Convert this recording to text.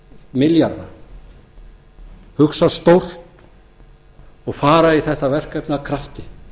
milljarða hugsa stórt og fara í þetta verkefni af krafti